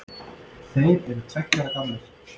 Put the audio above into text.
Þeir eru tveggja ára gamlir